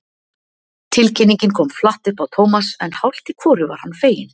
Tilkynningin kom flatt upp á Thomas en hálft í hvoru var hann feginn.